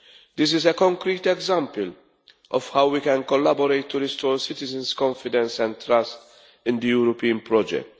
This is a concrete example of how we can collaborate to restore citizens' confidence and trust in the European project.